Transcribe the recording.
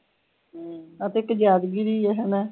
ਅਤੇ ਇੱਕ ਜ਼ਾਦਗਿਰੀ ਹਣਾ